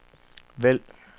vælg